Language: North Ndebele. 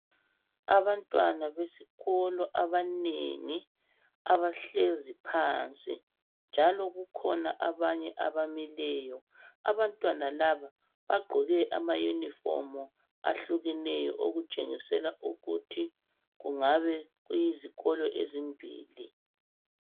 Abantwana besikolo abanengi abahlezi phansi njalo kukhona abanye abamileyo . Abantwana laba bagqoke ama uniform ahlukeneyo okutshengisela ukuthi kungabe kuyizikolo ezimbili.